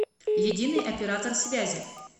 единый оператор связи